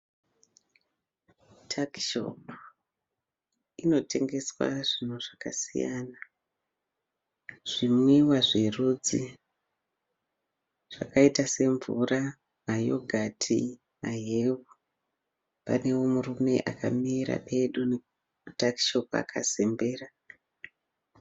Takishopu, inotengeswa zvinhu zvakasiyana. Zvimwiwa zverudzi zvakaita semvura, mayogati, mahewu. Panewo murume akamira pedo netakishopu akazembera.